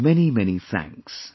Many many thanks